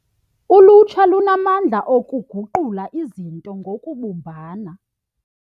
Ulutsha lunamandla okuguqula izinto ngokubumbana.